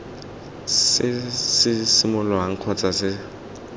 se simololwang kgotsa se se